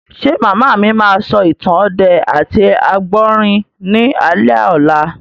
Ṣé màmá mi máa sọ ìtàn ọdẹ àti àgbọ̀rín ní alẹ́ ọ̀la?